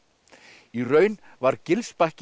í raun var